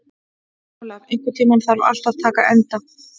Olaf, einhvern tímann þarf allt að taka enda.